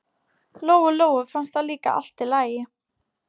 Lóu-Lóu fannst það líka allt í lagi.